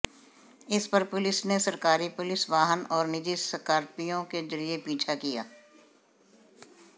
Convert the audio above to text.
इस पर पुलिस ने सरकारी पुलिस वाहन और निजी स्कार्पियो के जरिए पीछा किया